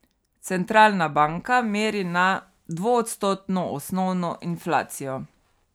Centralna banka meri na dvoodstotno osnovno inflacijo.